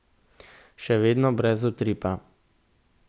Še vedno brez utripa.